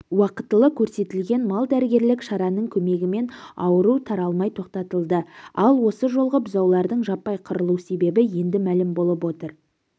уақытылы көрсетілген мал дәрігерлік шараның көмегімен ауру таралмай тоқтатылды ал осы жолғы бұзаулардың жаппай қырылу себебі енді мәлім болып отыр